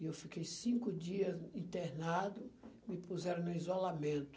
E eu fiquei cinco dias internado, me puseram no isolamento.